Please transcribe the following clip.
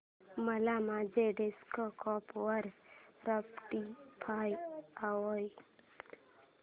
मला माझ्या डेस्कटॉप वर स्पॉटीफाय हवंय